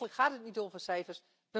Eigenlijk gaat het niet over cijfers.